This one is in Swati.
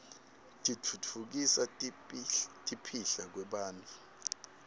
titfutfukisa kipihlakwebantfu